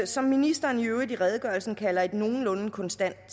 som ministeren i øvrigt i redegørelsen kalder et nogenlunde konstant